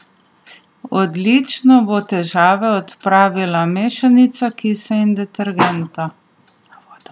Odlično bo težave odpravila mešanica kisa in detergenta.